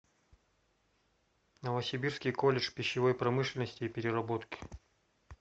новосибирский колледж пищевой промышленности и переработки